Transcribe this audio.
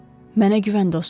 Mənə güvən, dostum.